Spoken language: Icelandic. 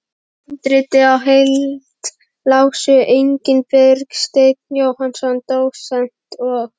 Handritið í heild lásu einnig Bergsteinn Jónsson dósent og